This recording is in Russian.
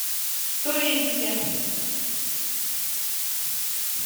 туринске